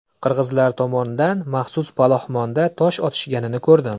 Qirg‘izlar tomondan maxsus palaxmonda tosh otishganini ko‘rdim.